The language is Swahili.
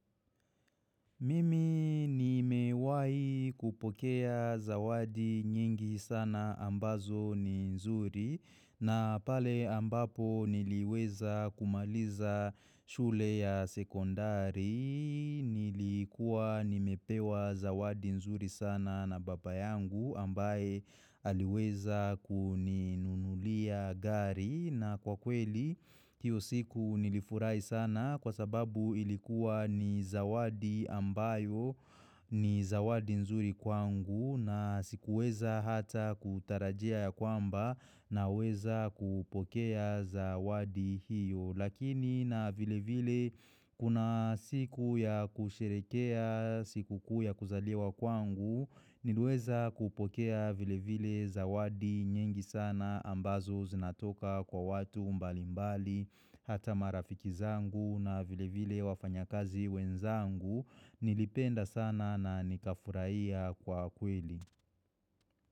Mimi nimewahi kupokea zawadi nyingi sana ambazo ni nzuri na pale ambapo niliweza kumaliza shule ya sekondari, nilikuwa nimepewa zawadi nzuri sana na baba yangu ambaye aliweza kuninunulia gari. Na kwa kweli, hiyo siku nilifurahi sana kwa sababu ilikuwa ni zawadi ambayo ni zawadi nzuri kwangu na sikuweza hata kutarajia ya kwamba naweza kupokea zawadi hiyo. Lakini na vile vile kuna siku ya kusherekea, siku kuu ya kuzaliwa kwangu, nilweza kupokea vile vile zawadi nyingi sana ambazo zinatoka kwa watu mbali mbali, hata marafiki zangu na vile vile wafanyakazi wenzangu, nilipenda sana na nikafurahia kwa kweli.